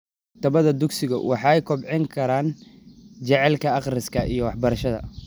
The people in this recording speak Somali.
Maktabadaha dugsigu waxay kobcin karaan jacaylka akhriska iyo waxbarashada.